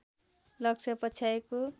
लक्ष्य पछ्याएको